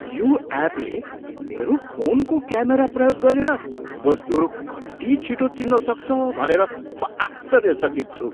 यो एपले मेरो फोनको क्यामेरा प्रयोग गरेर वस्तुहरू कति छिटो चिन्न सक्छ भनेर म आश्चर्यचकित छु।